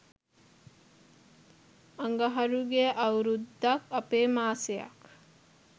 අඟහරුගේ අවුරුද්දක් අපේ මාසක්